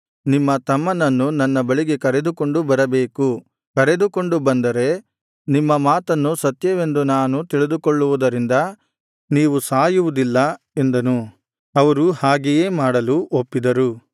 ನಿಮ್ಮ ತಮ್ಮನನ್ನು ನನ್ನ ಬಳಿಗೆ ಕರೆದುಕೊಂಡು ಬರಬೇಕು ಕರೆದುಕೊಂಡು ಬಂದರೆ ನಿಮ್ಮ ಮಾತನ್ನು ಸತ್ಯವೆಂದು ನಾನು ತಿಳಿದುಕೊಳ್ಳುವುದರಿಂದ ನೀವು ಸಾಯುವುದಿಲ್ಲ ಎಂದನು ಅವರು ಹಾಗೆಯೇ ಮಾಡಲು ಒಪ್ಪಿದರು